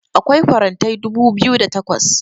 akwai farantai dubu biyu da takwas